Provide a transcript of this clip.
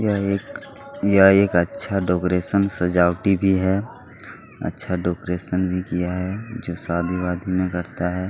यह एक यह एक अच्छा डेकोरेशन सजावटी भी है अच्छा डेकोरेशन भी किया हैजो शादी वादी में करता है।